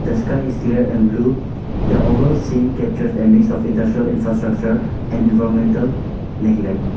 the sky is clear and blue the over scene captures a mix of industrial infrastructure and environmental neglect.